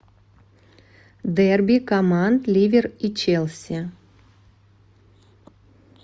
дерби команд ливер и челси